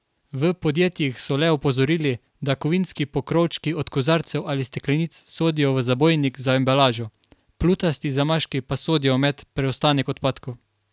V podjetjih so le opozorili, da kovinski pokrovčki od kozarcev ali steklenic sodijo v zabojnik za embalažo, plutasti zamaški pa sodijo med preostanek odpadkov.